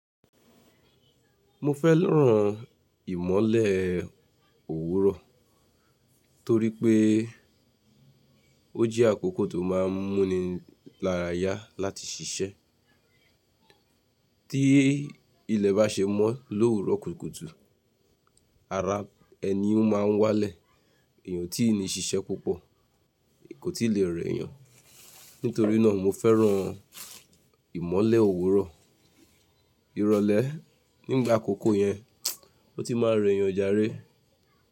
Mo fẹ́ràn ìmọ́lẹ̀ òwúrọ̀ torí pé ó je àkókò tó má a ń múni lára yá láti ṣiṣẹ́. Tí ilẹ̀ bá ṣe mọ́ l’òwúrọ̀ kùtùkùtù, ara ẹni máa ń wálẹ̀, èèyàn tí i ní ṣiṣẹ́ púpọ̀ kò tí lè rẹ́ yan. Nítorí náà, mo fẹ́ràn ìmọ́lẹ̀ òwúrọ̀. Ìrọ̀lẹ́ nígbà àkọ́kọ́ yẹn, ó ti má a rẹ́ eyan jàré.